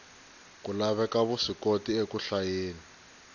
ku laveka vuswikoti eku hlayeni